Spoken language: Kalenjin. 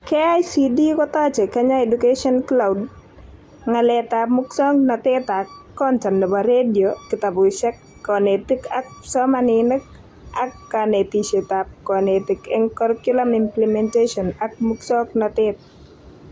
KICD kotochei Kenya Education Cloud (Ng'alaletab musoknotet ak content nebo radio ,kitabushekab konetik ak psomaninik ak konetishetab konetik eng curriculum implementation ak musoknotet